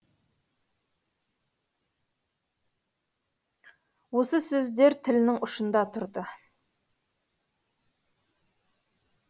осы сөздер тілінің ұшында тұрды